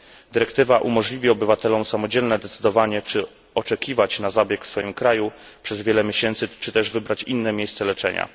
Dyrektywa umożliwi obywatelom samodzielne decydowanie, czy oczekiwać na zabieg w swoim kraju przez wiele miesięcy, czy też wybrać inne miejsce leczenia.